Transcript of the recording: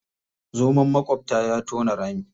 Zoman maƙwabta ya tona rami.